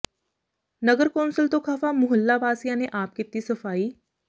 ਨਗਰ ਕੌਂਸਲ ਤੋਂ ਖ਼ਫ਼ਾ ਮੁਹੱਲਾ ਵਾਸੀਆਂ ਨੇ ਆਪ ਕੀਤੀ ਸਫ਼ਾਈ